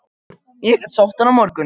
Ég get sótt hann á morgun.